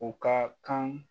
O ka kan.